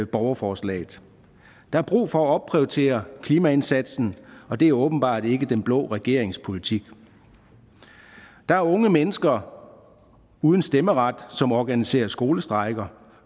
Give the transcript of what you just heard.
borgerforslaget der er brug for at opprioritere klimaindsatsen og det er åbenbart ikke den blå regerings politik der er unge mennesker uden stemmeret som organiserer skolestrejker